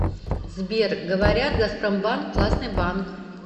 сбер говорят газпромбанк классный банк